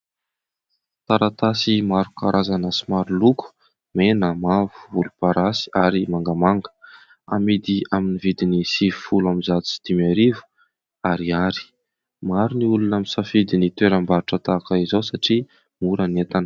Taratasy maro karazana sy maro loko ; mena, mavo, volomparasy ary mangamanga amidy amin'ny vidin'ny sivifolo ambin'ny zato sy dimy arivo ariary, maro ny olona misafidy ny toeram-barotra tahaka izao satria mora ny entana.